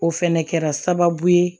O fɛnɛ kɛra sababu ye